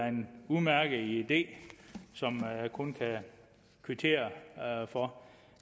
en udmærket idé som jeg kun kan kvittere for